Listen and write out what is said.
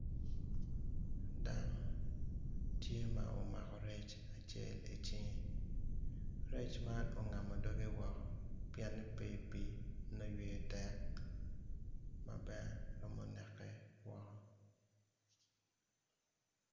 Dano tye ma omako rec i cinge rec man ongamo doge woko pien ni pe i pii nongo yweyo tek ma bene romo neke woko